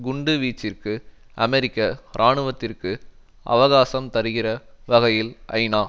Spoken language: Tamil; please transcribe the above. குண்டு வீச்சிற்கு அமெரிக்க இராணுவத்திற்கு அவகாசம் தருகிற வகையில் ஐநா